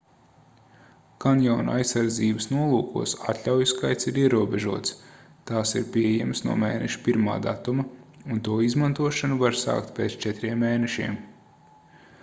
kanjona aizsardzības nolūkos atļauju skaits ir ierobežots tās ir pieejamas no mēneša 1. datuma un to izmantošanu var sākt pēc četriem mēnešiem